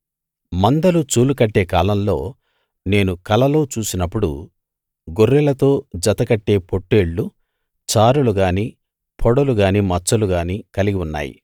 మందలు చూలు కట్టే కాలంలో నేను కలలో చూసినపుడు గొర్రెలతో జత కట్టే పొట్టేళ్ళు చారలు గానీ పొడలు గానీ మచ్చలు గానీ కలిగి ఉన్నాయి